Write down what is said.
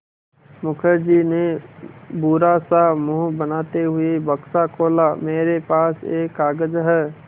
मुखर्जी ने बुरा सा मुँह बनाते हुए बक्सा खोला मेरे पास एक कागज़ है